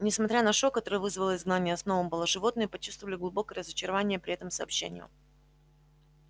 несмотря на шок который вызвало изгнание сноуболла животные почувствовали глубокое разочарование при этом сообщении